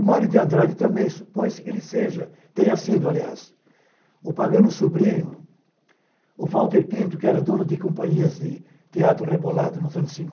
O Mário de Andrade também, supõe-se que ele seja, tenha sido, aliás, o pagano-sobrinho, o Walter Pinto, que era dono de companhias de teatro rebolado nos anos